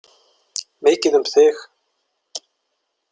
Mikið um þig.